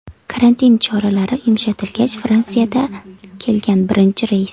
Karantin choralari yumshatilgach Fransiyadan kelgan birinchi reys.